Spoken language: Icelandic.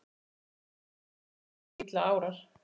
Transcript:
Líka þegar að illa árar?